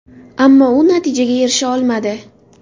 Ammo u natijaga erisha olmadi.